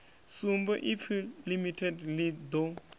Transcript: sumbe ipfi limited ḽi ḓo